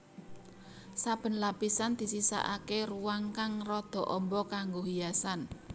Saben lapisan disisakaké ruang kang rada amba kanggo hiasan